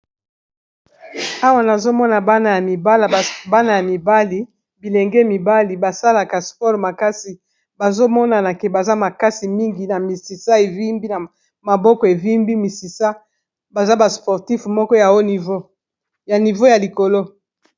Awa nazo mona bana ya mibala bana ya mibali bilenge mibali ba salaka sport makasi, bazo monana ke baza makasi mingi na misisa evimbi na maboko evimbi misisa baza ba sportif moko ya haut niveau ya niveau ya likolo.